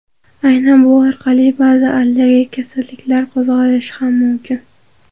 Aynan bu orqali ba’zi allergik kasalliklar qo‘zg‘alishi ham mumkin.